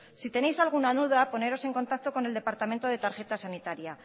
si tenéis alguna duda poneros en contacto con el departamento de tarjeta sanitaria